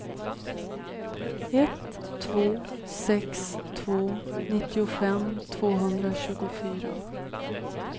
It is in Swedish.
ett två sex två nittiofem tvåhundratjugofyra